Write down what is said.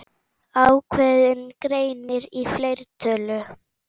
Ákveðinn greinir í fleirtölu.